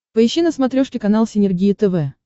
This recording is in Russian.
поищи на смотрешке канал синергия тв